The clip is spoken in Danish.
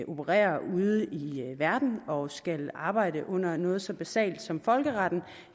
opererer ude i verden og skal arbejde under noget så basalt som folkeretten